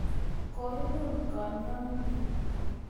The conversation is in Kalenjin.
Kurin kanyoindet